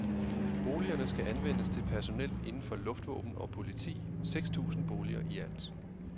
Boligerne skal anvendes til personel inden for luftvåden og politi, seks tusind boliger i alt.